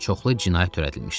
Çoxlu cinayət törədilmişdi.